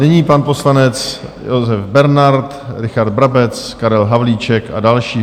Nyní pan poslanec Josef Bernard, Richard Brabec, Karel Havlíček a další.